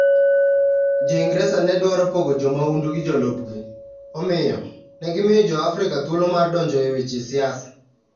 Jo - Ingresa ne dwaro pogo jo mahundu gi jolupgi, omiyo, ne gimiyo Jo-Afrika thuolo mar donjo e weche siasa.